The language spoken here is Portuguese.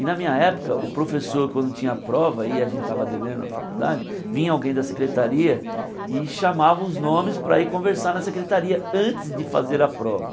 E na minha época, o professor quando tinha a prova e a gente tava devendo a faculdade, vinha alguém da secretaria e chamava os nomes para ir conversar na secretaria antes de fazer a prova.